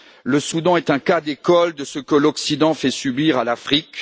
Le Soudan est un cas d'école de ce que l'Occident fait subir à l'Afrique.